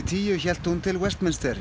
tíu hélt hún til